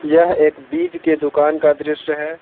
यह एक बीज के दुकान का दृश्य है।